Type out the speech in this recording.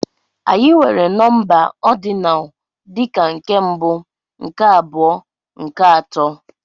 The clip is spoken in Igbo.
Anyị nwere nọmba ordinal dị ka nke mbụ, nke abụọ, nke atọ.